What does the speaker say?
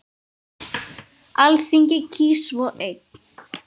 Alþingi kýs svo einn.